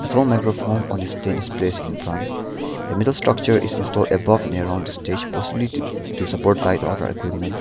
tall microphone on a stand is placed in front a metal structure is installed above near on stage possibly to to support light order equipment.